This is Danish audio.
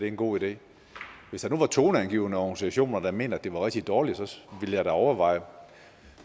en god idé hvis der nu var toneangivende organisationer der mente at det var rigtig dårligt ville jeg da overveje